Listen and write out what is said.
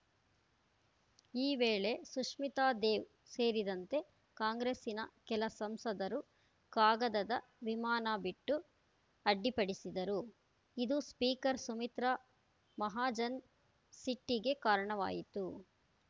ಈ ವೇಳೆ ಸುಷ್ಮಿತಾ ದೇವ್‌ ಸೇರಿದಂತೆ ಕಾಂಗ್ರೆಸ್ಸಿನ ಕೆಲ ಸಂಸದರು ಕಾಗದದ ವಿಮಾನ ಬಿಟ್ಟು ಅಡ್ಡಿಪಡಿಸಿದರು ಇದು ಸ್ಪೀಕರ್‌ ಸುಮಿತ್ರಾ ಮಹಾಜನ್‌ ಸಿಟ್ಟಿಗೆ ಕಾರಣವಾಯಿತು